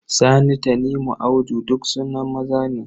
Sani, Tanimu, Audu duk sunan maza ne.